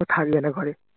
ও থাকবেনা ঘরে